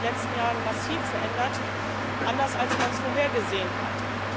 Sie haben sich in den letzten Jahren massiv verändert, anders als man es vorhergesehen hatte.